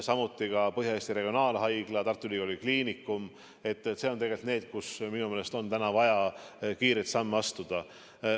Samuti Põhja-Eesti Regionaalhaigla, Tartu Ülikooli Kliinikum, need on tegelikult need kohad, kus minu meelest on vaja kiireid samme astuda.